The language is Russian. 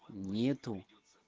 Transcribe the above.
нет